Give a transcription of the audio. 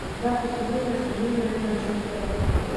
запись игры между ливер и манчестером